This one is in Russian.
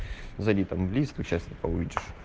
забит английском час не получишь